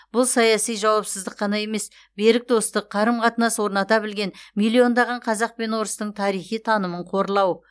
бұл саяси жауапсыздық қана емес берік достық қарым қатынас орната білген миллиондаған қазақ пен орыстың тарихи танымын қорлау